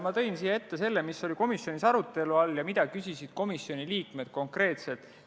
Ma tõin teie ette selle, mis oli komisjonis arutelu all ja mida komisjoni liikmed konkreetselt küsisid.